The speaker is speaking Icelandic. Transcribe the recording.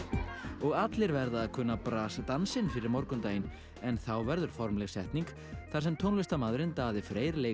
og allir verða að kunna dansinn fyrir morgundaginn en þá verður formleg setning þar sem tónlistarmaðurinn Daði Freyr leikur